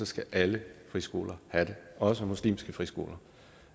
skal alle friskoler have det også muslimske friskoler